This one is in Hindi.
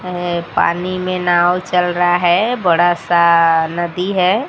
अह पानी में नाव चल रहा है बड़ा सा नदी है।